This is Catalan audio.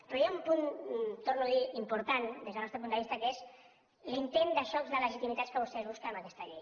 però hi ha un punt ho torno a dir important des del nostre punt de vista que és l’intent de xoc de legitimitats que vostès busquen amb aquesta llei